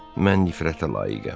Mən nifrətə layiqəm.